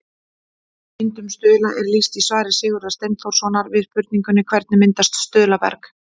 Myndun stuðla er lýst í svari Sigurðar Steinþórssonar við spurningunni Hvernig myndast stuðlaberg?